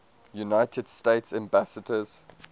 united states ambassadors